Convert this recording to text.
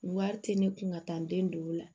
Wari tɛ ne kun ka taa n den don o la